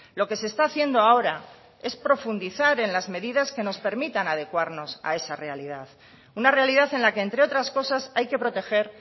lo que se está haciendo ahora es profundizar en las medidas que nos permitan adecuarnos a esa realidad una realidad en la que entre otras cosas hay que proteger